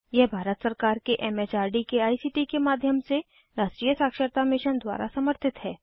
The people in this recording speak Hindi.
यह भारत सरकार के एम एच आर डी के आई सी टी के माध्यम से राष्ट्रीय साक्षरता मिशन द्वारा समर्थित है